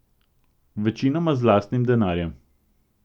Večinoma z lastnim denarjem.